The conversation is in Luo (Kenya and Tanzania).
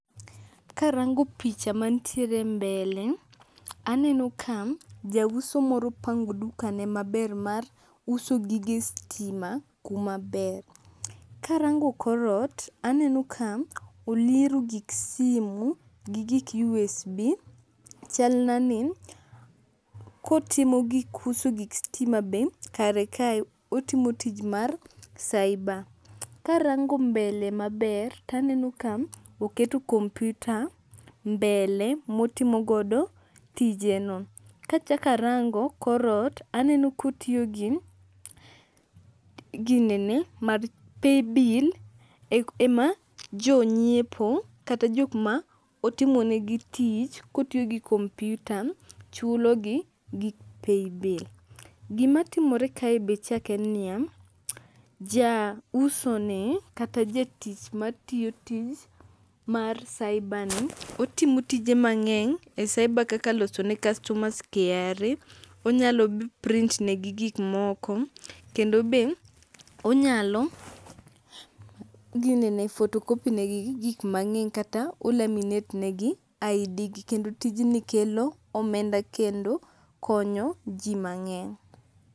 Karango picha mantiere mbele aneno ka jauso moro pango dukane maber mar uso gige stima kumaber. Karango korot aneno ka oliero gik simu gi gik USB. Chalnani kotimo gik uso gik stima be kare kae, otimo tij mar cyber. Karango mbele maber taneno ka oketo kompyuta mbele motimo godo tijeno. Kachakarango korot aneno kotio gi ginene mar paybill ema jonyiepo kata jokma otimonegi tich kotiyogi kompyuta chulogi gi paybill. Gimatimore kae be chak en niya jausoni kata jatich matiyo tich mar cyber ni otimo tije mang'eny e cyber] kaka losone customers KRA.Onyalo print negi gikmoko kendo be onyalo ginene photocopy negi gik mang'eny kata o laminate negi ID gi kendo tijni kelo omenda kendo konyo jii mang'eny.